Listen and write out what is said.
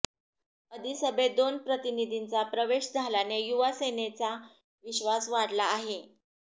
अधिसभेत दोन प्रतिनिधींचा प्रवेश झाल्याने युवा सेनेचा विश्वास वाढला आहे